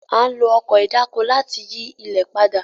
A n lo Ọkọ̀ ìdáko láti yi ilẹ pàdà